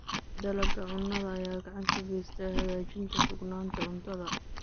Dalagga cunnada ayaa gacan ka geysta hagaajinta sugnaanta cuntada.